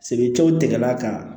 Sebew tigɛla ka